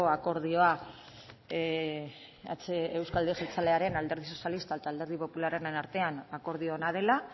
akordioa euzko alderdi jeltzalearen alderdi sozialistak eta alderdi popularraren artean akordio ona dela